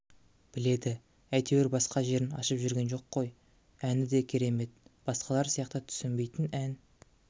біледі әйтеуір басқа жерін ашып жүрген жоқ қой әні де керемет басқалар сияқты түсінбейтін ән